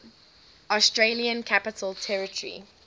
australian capital territory